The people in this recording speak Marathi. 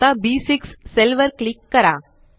आता बी6 सेल वर क्लिक करा